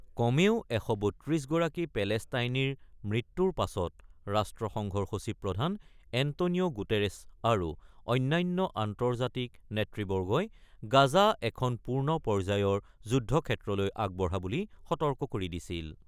কমেও ১৩২ গৰাকী পেলেষ্টাইনীৰ মৃত্যুৰ পাছত ৰাষ্ট্ৰসংঘৰ সচিব প্ৰধান এণ্টনিঅ গুটেৰেছ আৰু অন্যান্য আন্তৰ্জাতিক নেতৃবৰ্গই গাজা এখন পূৰ্ণ পৰ্যায়ৰ যুদ্ধক্ষেত্ৰলৈ আগবঢ়া বুলি সতৰ্ক কৰি দিছিল।